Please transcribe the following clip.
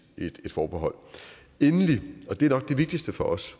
forbehold endelig og det er nok det vigtigste for os